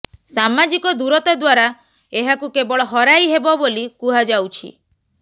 ସାମାଜିକ ଦୂରତା ଦ୍ବାରା ଏହାକୁ କେବଳ ହରାଇ ହେବ ବୋଲି କୁହାଯାଉଛି